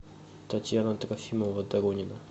татьяна трофимова доронина